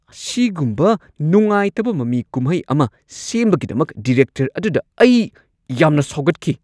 ꯑꯁꯤꯒꯨꯝꯕ ꯅꯨꯡꯉꯥꯏꯇꯕ ꯃꯃꯤ ꯀꯨꯝꯍꯩ ꯑꯃ ꯁꯦꯝꯕꯒꯤꯗꯃꯛ ꯗꯤꯔꯦꯛꯇꯔ ꯑꯗꯨꯗ ꯑꯩ ꯌꯥꯝꯅ ꯁꯥꯎꯒꯠꯈꯤ꯫